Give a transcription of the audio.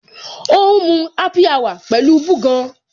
O ń mu happy hour pẹ̀lú búgan.